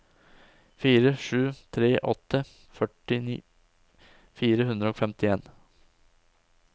fire sju tre åtte førtifire to hundre og femtien